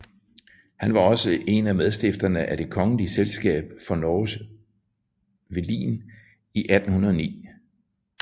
Han var også en af medstifterne af Det Kongelige Selskap for Norges Velin i 1809